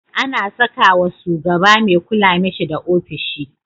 Ana sakawa sugaba me kula mishi da ofishi